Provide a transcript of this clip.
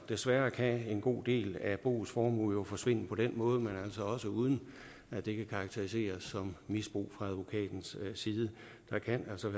desværre kan en god del af boets formue jo forsvinde på den måde også uden at det kan karakteriseres som misbrug fra advokatens side der kan altså